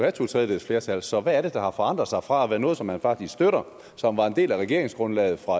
et totredjedelsflertal så hvad er det der har forandret sig fra at være noget som man faktisk støtter som var en del af regeringsgrundlaget fra